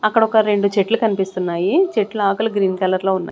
అక్కడ ఒక రెండు చెట్లు కనిపిస్తున్నాయి చెట్లు ఆకులు గ్రీన్ కలర్ లో ఉన్నాయి.